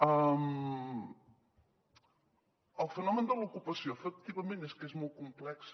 el fenomen de l’ocupació efectivament és que és molt complex